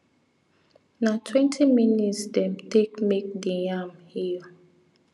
na twenty minutes dem take make di yam hill